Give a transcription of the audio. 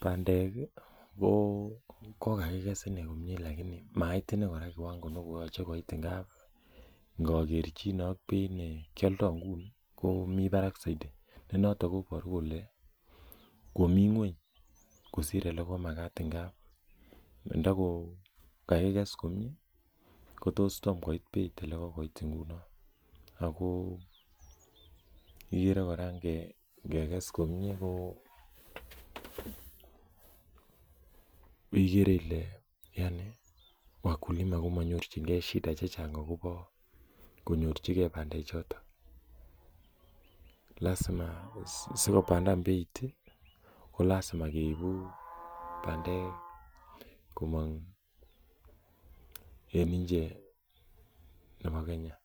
bandek ih ko kokakiges inei komie aalani kora mait inei kora koyache koit ngap ngagerchine komii barak saiti, konato kobaru kole komi ngueny, kosir oleko magat nda ko kakiges komie kotos tom koit beit olon ago ikere kora ingekes komie ko igere Ile wakulima kobunei shida chechang. lazima ko lasima keibu bandek komong en inche nebo Kenya,